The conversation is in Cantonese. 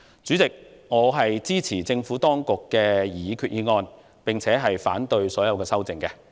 主席，我支持政府當局的擬議決議案及反對所有修訂議案。